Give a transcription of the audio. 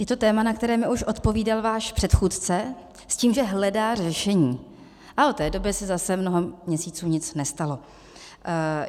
Je to téma, na které mi už odpovídal váš předchůdce, s tím, že hledá řešení, a od té doby se zase mnoho měsíců nic nestalo.